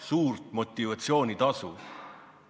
Suurt motivatsioonitasu!